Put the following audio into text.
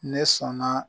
Ne sɔnna